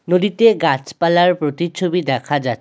নদীতে গাছপালার প্রতিচ্ছবি দেখা যা --